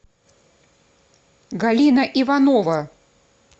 галина иванова